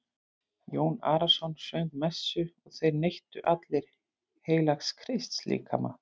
Jón Arason söng messu og þeir neyttu allir heilags Krists líkama.